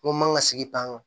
N ko n man ŋa sigi tan nɔ